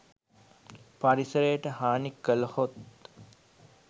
පරිසරයට හානි කළහොත්